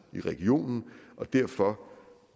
i regionen derfor